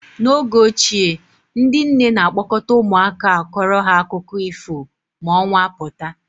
N'oge ochie ndị nne na-a kpọkọta ụmụaka akọrọ ha akụkọ ifo ma ọnwa pụta.